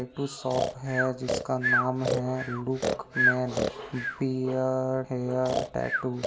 shop है जिसका नाम है look man beard hair tattoo --